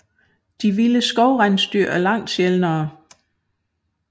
De vilde skovrensdyr er langt sjældnere